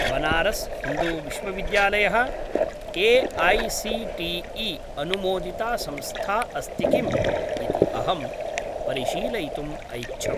बनारस् हिन्दू विश्वविद्यालयः ए.ऐ.सी.टी.ई. अनुमोदिता संस्था अस्ति किम् इति अहं परिशीलयितुम् ऐच्छम्।